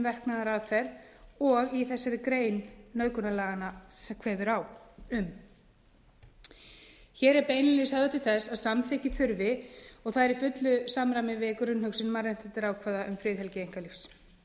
verknaðaraðferð og þessi grein nauðgunarlaganna kveður á um hér er beinlínis höfðað til þess að samþykki þurfi og það er í fullu samræmi við grunnhugsun mannréttindaákvæða um friðhelgi einkalífs tólf fjórtán fimmtíu og fjögur tólf fjórtán fimmtíu og fimm